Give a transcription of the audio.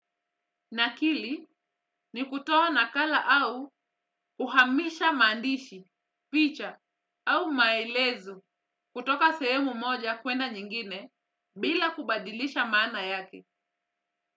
Na akili ni kutoa nakala au uhamisha mandishi, picha au maelezo kutoka sehemu moja kwenda nyingine bila kubadilisha maana yake.